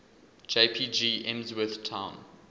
jpg emsworth town